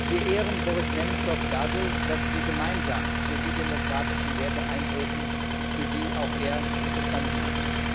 Wir ehren Boris Nemzow dadurch, dass wir gemeinsam für die demokratischen Werte eintreten, für die auch er gestanden hat.